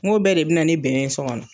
Ngo bɛɛ de bi na ni bɛn ye sɔ gɔnɔ